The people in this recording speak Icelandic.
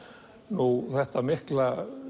nú þetta mikla